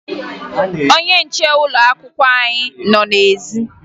Ọnye nche ụlọakwụkwọ anyị nọ n'ezi